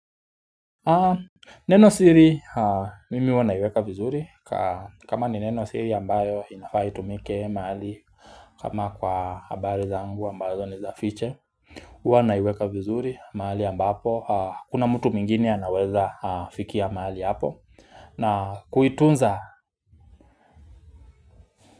Neno siri mimi huwa naiweka vizuri kama ni neno siri ambayo inafaa itumike mahali kama kwa habari zangu ambazo ni za fiche Huwa naiweka vizuri mahali ambapo hakuna mtu mwingine anaweza fikia mahali hapo na kuitunza.